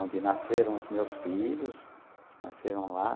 Onde nasceram os meus filhos, eles nasceram lá.